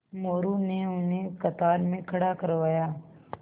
मोरू ने उन्हें कतार में खड़ा करवाया